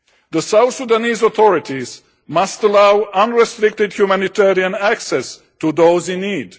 The South Sudanese authorities must allow unrestricted humanitarian access to those in need.